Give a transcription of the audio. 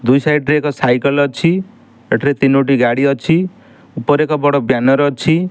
ଦୁଇ ସାଇଟ୍ ରେ ଏକ ସାଇକଲ୍ ଅଛି ଏଠିରେ ତିନୋଟି ଗାଡ଼ି ଅଛି ଉପରେ ଏକ ବଡ଼ ବ୍ୟାନର ଅଛି।